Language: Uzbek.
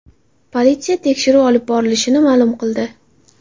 Politsiya tekshiruv olib borilishini ma’lum qildi.